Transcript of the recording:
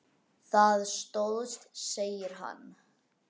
Það stóðst, segir hann.